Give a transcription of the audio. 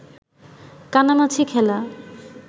কানামাছি খেলা